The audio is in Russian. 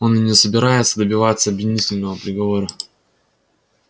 он и не собирается добиваться обвинительного приговора